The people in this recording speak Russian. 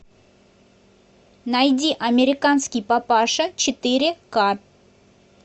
найди американский папаша четыре к